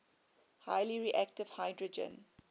highly reactive hydrogen